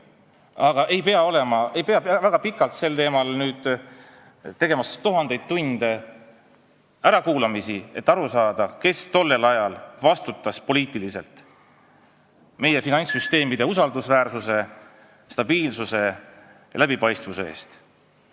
Aga ei pea tegema sel teemal väga pikalt, tuhandeid tunde ärakuulamisi, et aru saada, kes tollel ajal poliitiliselt vastutas meie finantssüsteemide usaldusväärsuse, stabiilsuse ja läbipaistvuse eest.